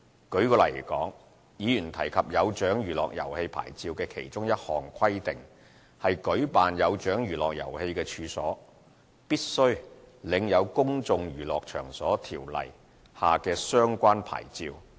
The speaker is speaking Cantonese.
舉例來說，議員提及"有獎娛樂遊戲牌照"的其中一項規定，是舉辦"有獎娛樂遊戲"的處所，必須領有《公眾娛樂場所條例》下的相關牌照。